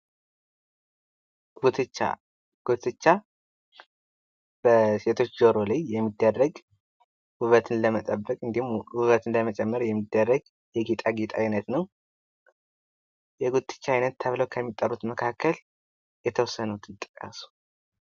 ጉትቻ በሴቶች ጆሮው ላይ የሚደረግ ውበትን ለመጠበቅ እንዲሁም ፤ ሙበትን ለመጨመር የሚደረግ የጌጣጌጥ ዓይነት ነው። የጉትቻ ዓይነት ተብለው ከሚጠሩት መካከል የተወሰኑትን ጠቅሱ።